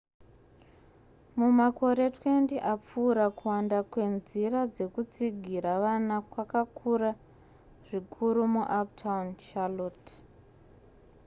mumakore 20 apfuura kuwanda kwenzira dzekutsigira vana kwakakura zvikuru muuptown charlotte